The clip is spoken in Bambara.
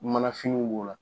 Mana finiw b'o la.